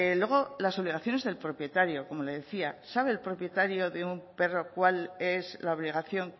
luego las obligaciones del propietario como le decía sabe el propietario de un perro cuál es la obligación